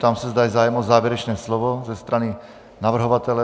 Ptám se, zda je zájem o závěrečné slovo ze strany navrhovatele.